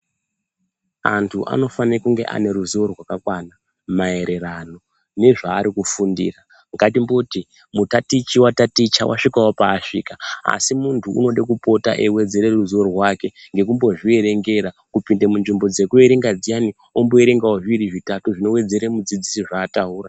Antu anofane kunge ane ruzivo rwakakwana maererano nezvarikufundira. Ngatimboti mutatichi wataticha wasvikawo pasvika asi muntu unode kupota eiwedzere ruzivo rwake ngekumbozvierengera kupinde munzvimbo dzekuerenga dziyani omboerengawo zviri zvitatu zvinowedzere mudzidzisi zvataura.